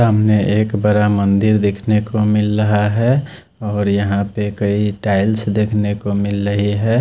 हमने एक बड़ा मंदिर देखने को मिल रहा है और यहां पर कई टाइल्स देखने को मिल रही है।